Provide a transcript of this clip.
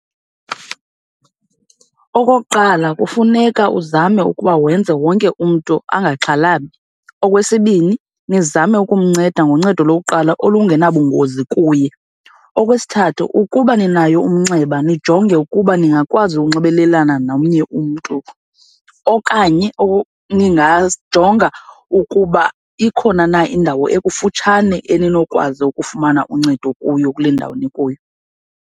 Okokuqala kufuneka uzame ukuba wenze wonke umntu angaxhalabi. Okwesibini nizame ukumnceda ngoncedo lokuqala olungenabungozi kuye. Okwesithathu ukuba ninayo umnxeba, nijonge ukuba ningakwazi ukunxibelelana nomnye umntu okanye ningazijonga ukuba ikhona na indawo ekufutshane eninokwazi ukufumana uncedo kuyo kule ndawo nikuyo.